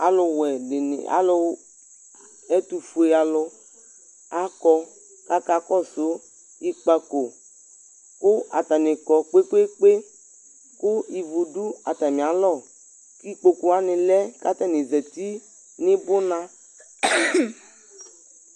Alʋwɛ dɩnɩ, alʋ ɛtʋfue alʋ akɔ kʋ akakɔsʋ ikpako kʋ atanɩ kɔ kpe-kpe-kpe kʋ ivu dʋ atamɩalɔ kʋ ikpoku wanɩ lɛ kʋ atanɩ zati nɩ bʋna